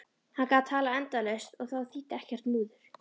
Hann gat talað endalaust og þá þýddi ekkert múður.